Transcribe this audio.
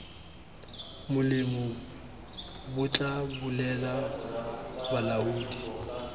molemo bo tla bolelela balaodi